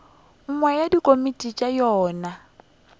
nngwe ya dikomiti tša yona